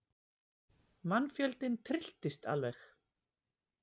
Mannfjöldinn trylltist alveg.